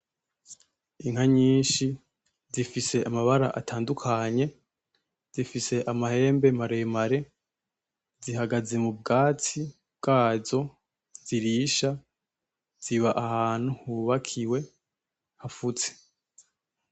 Inka nyinshi zifise amabara atandukanye zifise amahembe maremare zihagaze m'ubwatsi bwazo zirisha ziba ahantu hubakiwe hafutse.